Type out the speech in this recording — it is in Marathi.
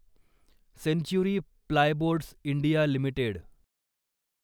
century plyboards India limited